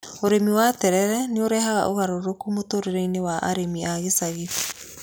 Ũrĩmi wa tetere nĩ ũrehaga ũgarũrũku mũtũũrĩre-inĩ wa arĩmi a ĩcagi.